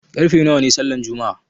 Karfe nawa ne sallan juma'a?